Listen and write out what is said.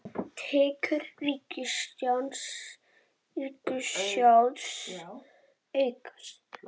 Tekjur ríkissjóðs aukast